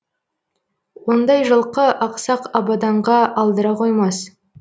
ондай жылқы ақсақ абаданға алдыра қоймас